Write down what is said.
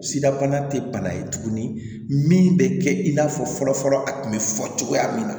Sidabana tɛ bana ye tuguni min bɛ kɛ in'a fɔ fɔlɔ a tun bɛ fɔ cogoya min na